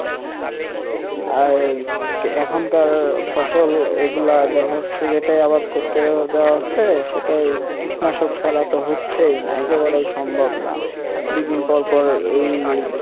আর এখনকার ফসল এগুলা দেখা যাচ্ছে যেটাই আবাদ করতে যাওয়া হচ্ছে সেটাই কীটনাশক সারা তো হচ্ছেই না একেবারেই সম্ভব না দুই দিন পর পর এই,